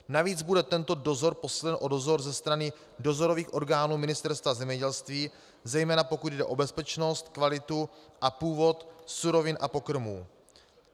Navíc bude tento dozor posílen o dozor ze strany dozorových orgánů Ministerstva zemědělství, zejména pokud jde o bezpečnost, kvalitu a původ surovin a pokrmů.